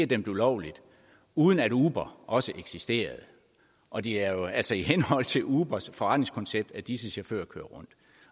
dømt ulovligt uden at uber også eksisterede og det er jo altså i henhold til ubers forretningskoncept at disse chauffører kører